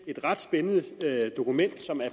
ret spændende dokument som er